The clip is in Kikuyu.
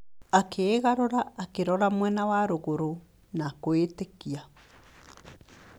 Akĩgarũra akĩrora mwena wa rũgũrũ na kwĩĩtĩkia.